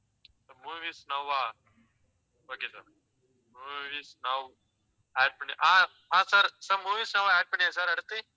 Movies நௌவா okay sir movies now add பண்ணி ஆஹ் sir, sir movies now add பண்ணியாச்சு, sir, அடுத்து?